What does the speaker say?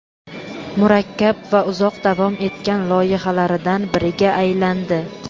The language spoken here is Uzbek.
murakkab va uzoq davom etgan loyihalaridan biriga aylandi.